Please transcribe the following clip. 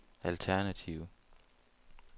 alternative